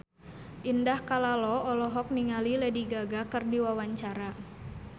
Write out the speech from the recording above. Indah Kalalo olohok ningali Lady Gaga keur diwawancara